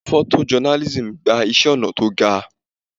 Photo journalism gba iṣẹ́ ọnà tó ga.